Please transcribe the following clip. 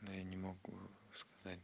я не могу сказать